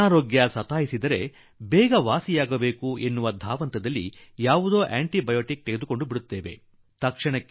ಅನಾರೋಗ್ಯವಾಗಿ ಬಿಟ್ಟರೆ ಬೇಗ ಗುಣಮುಖರಾಗಿ ಬಿಡೋಣ ಎಂದು ಮನಸ್ಸಾಗುತ್ತದೆ ಮತ್ತು ಇದಕ್ಕಾಗಿ ಯಾವುದಾದರೂ ಆಂಟಿ ಬಯೋಟಿಕ್ ಅನ್ನು ಸೇವಿಸಿ ಶರೀರದೊಳಗೆ ಹಾಕಿ ಬಿಡುತ್ತೇವೆ